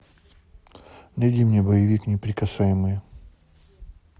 найди мне боевик неприкасаемые